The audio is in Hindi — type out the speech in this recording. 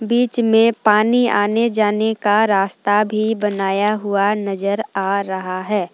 बीच में पानी आने जाने का रास्ता भी बनाया हुआ नजर आ रहा है।